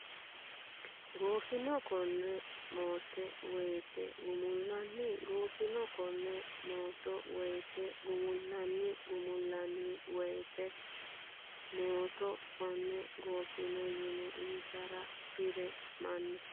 gooffino konne maatto woyte Gumullanni gooffino konne maatto woyte Gumullanni Gumullanni woyte maatto konne gooffino yine Insa bi ree manna !